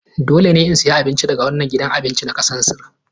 Dole ne in sayi abincin nahiya daga wannan gidan abincin na kasar Sin.